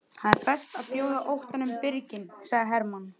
Það er best að bjóða óttanum birginn, sagði Hermann.